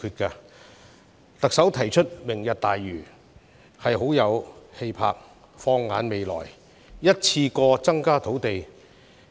特首提出"明日大嶼"，很有氣魄，能夠放眼未來，一次過增加土地供應。